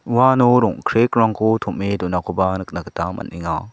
uano rong·krekrangko tom·e donakoba nikna gita man·enga.